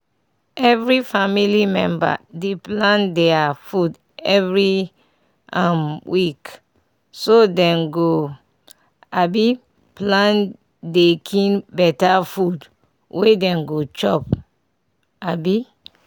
every family member dey plan their food every um week so dem go um plan dey kin better food wey dem go chop. um